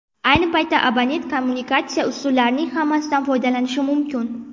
Ayni paytda abonent kommunikatsiya usullarining hammasidan foydalanishi mumkin.